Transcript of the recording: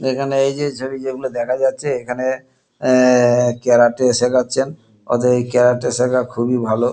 এখানে এইযে ছবি যেগুলো দেখা যাচ্ছে এখানে আঃ ক্যারাটে শেখাচ্ছেন ওদের এই ক্যারাটে শেখা খুবই ভালো।